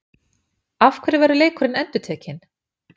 Af hverju verður leikurinn endurtekinn?